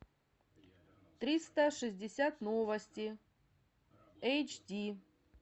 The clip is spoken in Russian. триста шестьдесят новости эйч ди